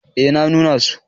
eh na nuna so